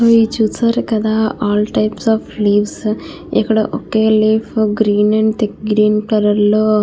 so ఇది చూశారు కదా ఆల్ టైప్స్ ఆఫ్ లీవ్స్ ఇక్కడ ఒకే leaf green and thick green colour లో --